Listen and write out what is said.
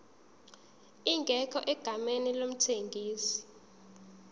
ingekho egameni lomthengisi